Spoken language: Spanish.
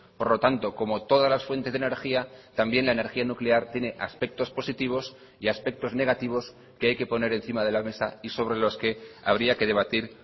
por lo tanto como todas las fuentes de energía también la energía nuclear tiene aspectos positivos y aspectos negativos que hay que poner encima de la mesa y sobre los que habría que debatir